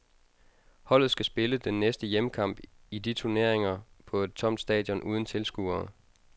Holdet skal spille den næste hjemmekamp i de turneringen på et tomt stadion uden tilskuere.